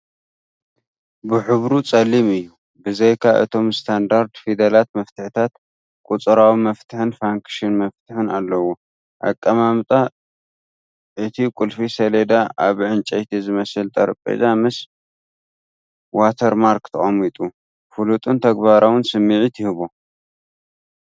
ብሕብሩ ጸሊም እዩ። ብዘይካ እቶም ስታንዳርድ ፊደላት መፍትሕታት፡ ቁጽራዊ መፍትሕን ፋንክሽን መፍትሕን ኣለዎ። ኣቀማምጣ፦ እቲ ቁልፊ ሰሌዳ ኣብ ዕንጨይቲ ዝመስል ጠረጴዛ ምስ ዋተርማርክ ተቐሚጡ፡ ፍሉጥን ተግባራውን ስምዒት ይህቦ፡፡